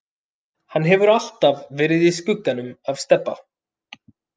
Hann hefur alltaf verið í skugganum af Stebba.